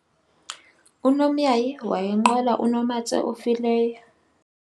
unomyayi wayenqola unomatse ofileyo